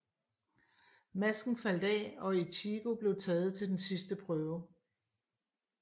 Masken faldt af og Ichigo blev taget til den sidste prøve